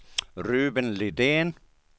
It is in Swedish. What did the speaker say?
Ruben Lidén